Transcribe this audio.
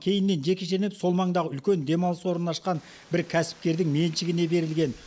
кейіннен жекешеленіп сол маңдағы үлкен демалыс орнын ашқан бір кәсіпкердің меншігіне берілген